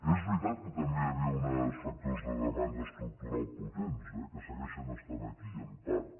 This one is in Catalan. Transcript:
és veritat que també hi havia uns factors de demanda estructural potents eh que segueixen estant aquí en part